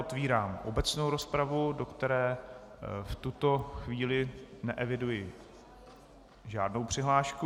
Otvírám obecnou rozpravu, do které v tuto chvíli neeviduji žádnou přihlášku.